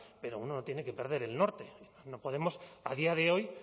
pero uno no tiene que perder el norte no podemos a día de hoy